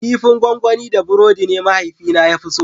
Kifin gonggoni da burodi ne mahaifina ya fi so.